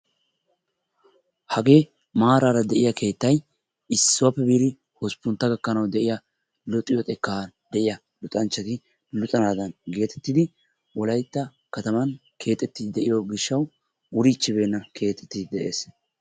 Hagee maaraara de'iyaa keettay issuwappe biidi hosppuntta gakkanaw de'iyaa luxiyoo xekan de'iyaa luxanchchati luxanaadan geetettidi wolaytta kataman keexxetidi de'iyo gishshaw wurichchibeena keexxetide de'ees.